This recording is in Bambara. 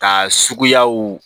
Ka suguyaw